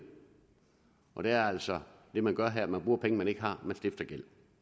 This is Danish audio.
og det er altså det man gør her hvor man bruger penge man ikke har